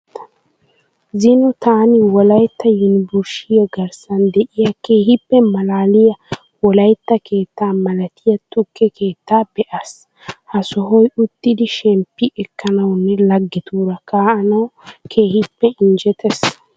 Zino taani wolayitta yunivurshshiya garissan de'iya keehippe malaaliya wolayitta keettaa malatiya tukke keettaa be'aas. Ha sohoy uttidi shemppi ekkanawunne laggetuura kaa'anawu keehippe injjetees.